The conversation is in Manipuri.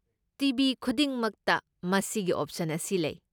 ꯇꯤ.ꯚꯤ. ꯈꯨꯗꯤꯡꯃꯛꯇ ꯃꯁꯤꯒꯤ ꯑꯣꯞꯁꯟ ꯑꯁꯤ ꯂꯩ꯫